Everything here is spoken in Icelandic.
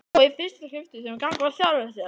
Og í fyrsta skipti gagnvart sjálfri sér.